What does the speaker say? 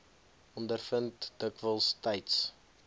ondervind dikwels tyds